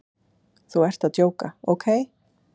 Þú ert að djóka, ókei?